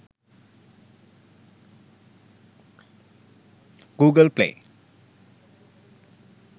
google play